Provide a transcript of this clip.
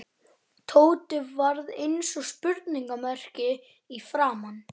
Tóti varð eins og spurningarmerki í framan.